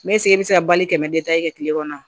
e bɛ se ka bali kɛmɛ kɛ kile kɔnɔ